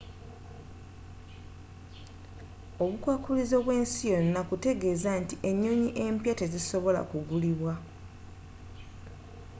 obukwakulizo bw'ensi yonna kutegeeza nti ennyonyi empya tezisobola gulibwa